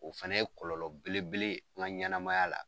O fɛnɛ ye kɔlɔlɔ belebele ye , an ka ɲanamaya la.